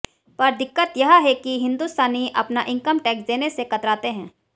पर दिक्कत यह है कि हिन्दुस्तानी अपना इनकम टैक्स देने से कतराते हैं